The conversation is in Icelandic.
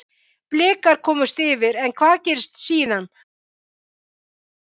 Blikar komust yfir, en hvað gerðist síðan, hættu menn eða hvað?